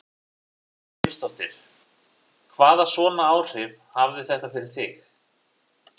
Erla Hlynsdóttir: Hvaða svona áhrif hafði þetta fyrir þig?